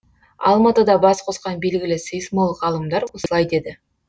алматыда бас қосқан белгілі сейсмолог ғалымдар осылай деді